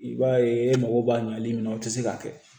I b'a ye e mago b'a ɲɛli min na o te se ka kɛ